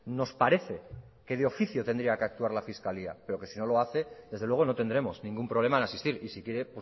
nos parece que de oficio tendría que actuar la fiscalía pero que si no lo hace desde luego no tendremos ningún problema en asistir y si quiere